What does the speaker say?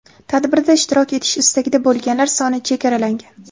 Tadbirda ishtirok etish istagida bo‘lganlar soni chegaralangan.